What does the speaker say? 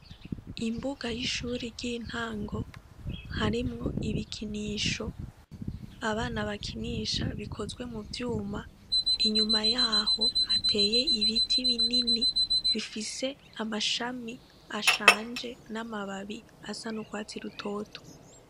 Imbuga y'ishuri ry'intango harimwo ibikinisho abana bakinisha bikozwe mu vyuma inyuma yaho hateye ibiti binini bifise amashami ashanje n'amababi asa n'ukwatsi rutotwa.